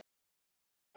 Hann ber þess merki